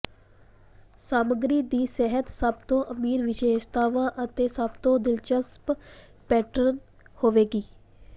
ਸਮੱਗਰੀ ਦੀ ਸਤਹ ਸਭ ਤੋਂ ਅਮੀਰ ਵਿਸ਼ੇਸ਼ਤਾਵਾਂ ਅਤੇ ਸਭ ਤੋਂ ਦਿਲਚਸਪ ਪੈਟਰਨ ਹੋਵੇਗੀ